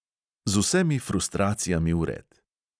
Z vsemi frustracijami vred.